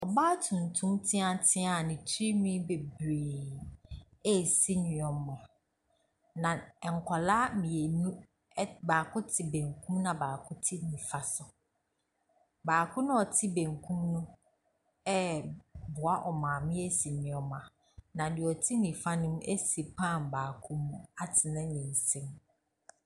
Ɔbaa tuntum teatea a ne ti nwin bebree. Asi nnoɔma na nkɔlaa mienu, baako te benkum na baako te nifa nso. Baako na ɔte benkum no ɛɛboa ɔmaame asi nnoɔma na neɛ ɔte nnifa no si pan baako mu atene ne nsam.